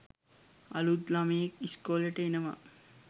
අලුත් ලමයෙක් ඉස්කෝලෙට එනවා